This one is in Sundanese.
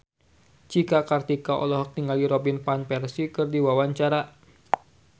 Cika Kartika olohok ningali Robin Van Persie keur diwawancara